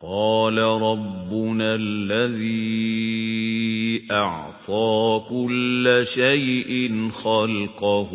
قَالَ رَبُّنَا الَّذِي أَعْطَىٰ كُلَّ شَيْءٍ خَلْقَهُ